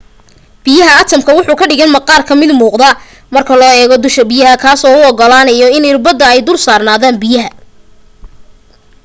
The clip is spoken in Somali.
biyaha atamka wuxuu ka dhigan maqaarka mid muuqda marka la eego dusha biyaha kaas oo u ogolaanyo in irbadaha ay dul saarnaadan biyaha